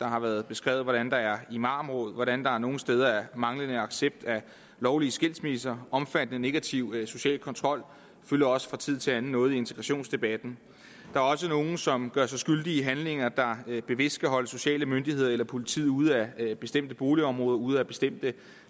har været beskrevet hvordan der er imamråd og hvordan der nogle steder er manglende accept af lovlige skilsmisser omfattende negativ social kontrol fylder også fra tid til anden noget i integrationsdebatten der er også nogle som gør sig skyldige i handlinger der bevidst skal holde de sociale myndigheder eller politiet ude af bestemte boligområder ude af bestemte